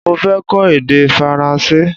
Mo fẹ́ kọ́ èdè Faransé